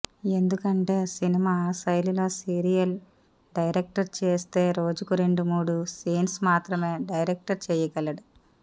ఎందుకంటే సినిమా శైలిలో serial direct చేస్తే రోజుకు రెండు మూడు సీన్స్ మాత్రమే డైరెక్ట్ చేయ్యగలడు